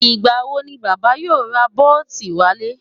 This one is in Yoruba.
Ìgbà wo ni Bàbá yóò ra biotin wálé?